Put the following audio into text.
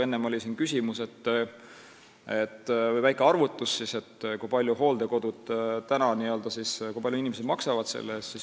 Enne oli siin väike arvutus, kui palju inimesed praegu hooldekodukoha eest maksavad.